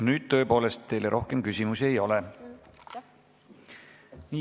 Nüüd tõepoolest teile rohkem küsimusi ei ole.